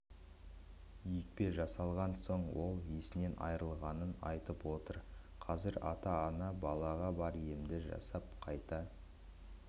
екпе жасалған соң ол есінен айырылғанын айтып отыр қазір ата-ана балаға бар емді жасап қайта